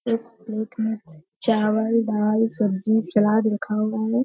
एक प्लेट में चावल दाल सब्जी सलाद रखा हुआ है ।